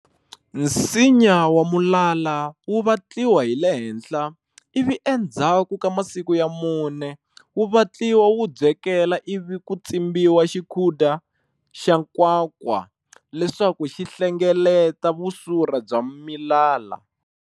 Nsinya wa Mulala wuvatliwa hi le henhla, ivi endzhaku ka masiku yamune, wu ta vatliwa wu byekela ivi ku tsimbiwa xikhudya xankwakwa, leswaku xi hlengeleta Vusurha bya milala.